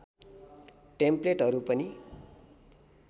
टेम्प्लेटहरू पनि